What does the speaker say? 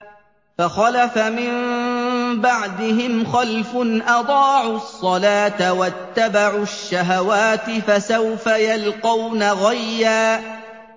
۞ فَخَلَفَ مِن بَعْدِهِمْ خَلْفٌ أَضَاعُوا الصَّلَاةَ وَاتَّبَعُوا الشَّهَوَاتِ ۖ فَسَوْفَ يَلْقَوْنَ غَيًّا